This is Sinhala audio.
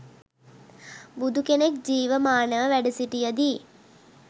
බුදුකෙනෙක් ජීවමානව වැඩසිටියදී